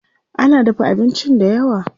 Ana dafa abincin dayawa.